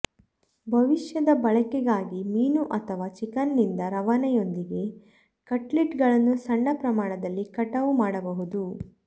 ಭವಿಷ್ಯದ ಬಳಕೆಗಾಗಿ ಮೀನು ಅಥವಾ ಚಿಕನ್ನಿಂದ ರವಾನೆಯೊಂದಿಗೆ ಕಟ್ಲೆಟ್ಗಳನ್ನು ಸಣ್ಣ ಪ್ರಮಾಣದಲ್ಲಿ ಕಟಾವು ಮಾಡಬಹುದು